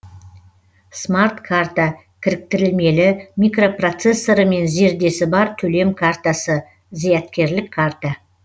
смарт карта кіріктірілмелі микропроцессоры мен зердесі бар төлем картасы зияткерлік карта